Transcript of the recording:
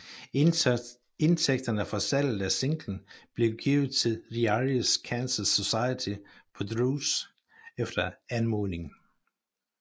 Indtægterne fra salget af singlen blev givet til The Irish Cancer Society på Drews egen anmodning